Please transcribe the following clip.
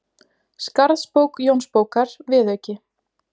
Skarðsbók Jónsbókar, viðauki